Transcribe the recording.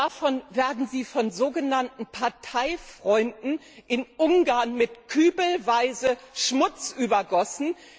Dafür werden Sie von sogenannten Parteifreunden in Ungarn mit kübelweise Schmutz übergossen.